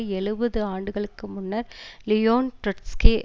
எழுபது ஆண்டுகளுக்கு முன்னர் லியோன் ட்ரொட்ஸ்கி